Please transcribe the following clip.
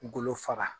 Golo faga